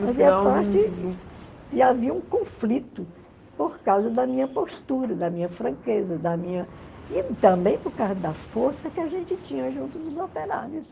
Fazia parte e havia um conflito por causa da minha postura, da minha franqueza, da minha e também por causa da força que a gente tinha junto dos operários.